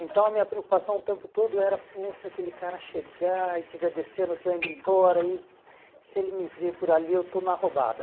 Então a minha preocupação o tempo todo era, pô, se aquele cara chegar e tiver descendo, tiver indo embora e se ele me ver por ali eu estou na roubada.